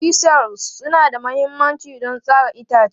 Chisels suna da mahimmanci don tsara itace.